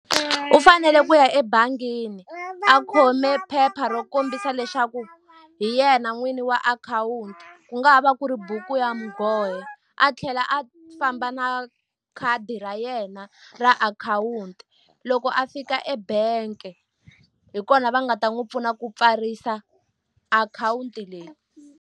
U fanele ku ya ebangini a khome phepha ro kombisa leswaku hi yena n'wini wa akhawunti, ku nga ha va ku ri buku ya nghohe. A tlhela a famba na khadi ra yena ra akhawunti. Loko a fika e-bank-e hi kona va nga ta n'wi pfuna ku pfarisa akhawunti leyi.